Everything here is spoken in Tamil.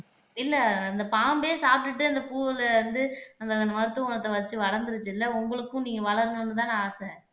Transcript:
இல்ல அந்த பாம்பே சாப்பிட்டுட்டு அந்த பூவுல வந்து அந்த அந்த மருத்துவ குணத்தை வச்சு வளர்ந்துருச்சு இல்ல உங்களுக்கும் நீங்க வளரணும்ன்னுதானே ஆசை